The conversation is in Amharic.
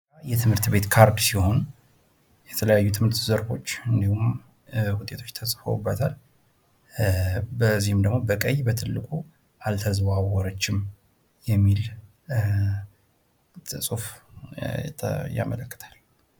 የትምህርት ቤት ካርድ ሲሆን ፤ የተለያዩ የትምህርት ዘርፎች እንዲሁም ውጤቶች ተጽፈውበታል ፤ በዚህም ደሞ በቀይ በትልቁ አልተዘዋወረችም የሚል ጽሁፍ ያመለክታል።